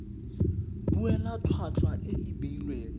duela tlhwatlhwa e e beilweng